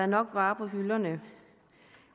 nok varer på hylderne